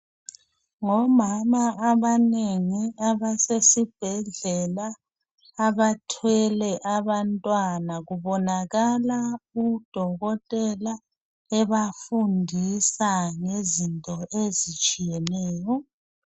Ngomama abanengi abasesibhedlela abathwele abantwana kubonakala udokotela ebafundisa ngezinto ezitshiyeneyo.